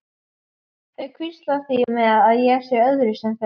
Þau hvísla því með að ég sé öðruvísi en þau.